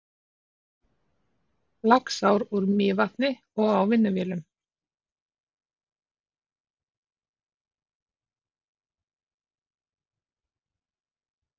Laxár úr Mývatni og á vinnuvélum.